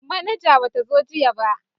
Manaja ba ta zo jiya ba